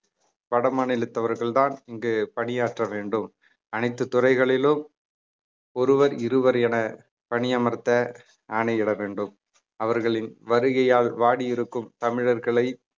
வட மாநிலத்தவர்கள்தான் இங்கு பணியாற்ற வேண்டும் அனைத்து துறைகளிலும் ஒருவர் இருவர் என பணியமர்த்த ஆணையிட வேண்டும் அவர்களின் வருகையால் வாடியிருக்கும் தமிழர்களை